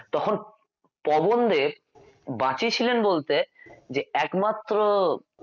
তখন পবনদেব বাঁচিয়েছিলেন বলতে যে একমাত্র